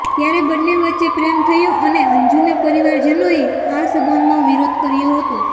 ત્યારે બંને વચ્ચે પ્રેમ થયો અને અંજુના પરિવારજનોએ આ સંબંધનો વિરોધ કર્યો હતો